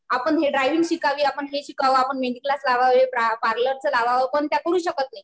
आपण ड्राइविंग शिकावी. आपण हे शिकावं. आपण मेहेंदी क्लास लावावे. पार्लरचं लावावं. पण त्या करू शकत नाही.